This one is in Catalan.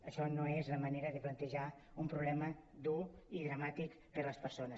això no és la manera de plantejar un problema dur i dramàtic per a les persones